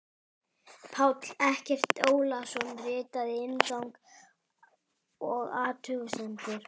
Páll Eggert Ólason ritaði inngang og athugasemdir.